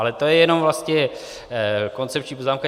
Ale to je jenom vlastně koncepční poznámka.